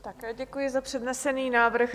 Také děkuji za přednesený návrh.